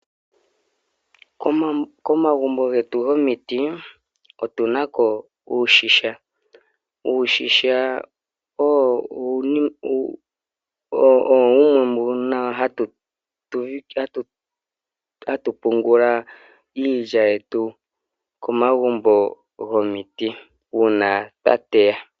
Komagumbo getu gomiti, otuna ko uushisha. Uushisha owo wumwe mbuno hatu pungula iilya yetu komagumbo gomiti, uuna twa teya.